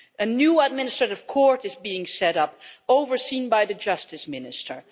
a new administrative court is being set up, overseen by the Justice Minister